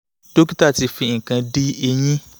dókítà ti fi nǹkan di eyín